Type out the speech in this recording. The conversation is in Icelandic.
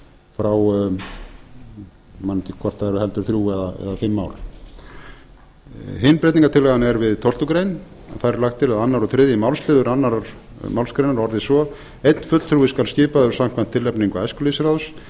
frá ég man ekki hvort það er heldur þrjú eða fimm ár hin breytingartillagan er við tólfta grein þar er lagt til að öðru og þriðja málsl annarri málsgrein orðist svo einn fulltrúi skal skipaður samkvæmt tilnefningu æskulýðsráðs